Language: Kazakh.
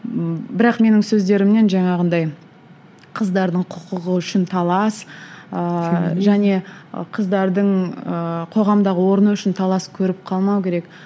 ммм бірақ менің сөздерімнен жаңағындай қыздардың құқығы үшін талас ыыы және қыздардың ыыы қоғамдағы орны үшін талас көріп қалмау керек